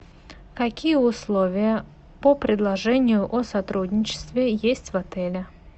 какие условия по предложению о сотрудничестве есть в отеле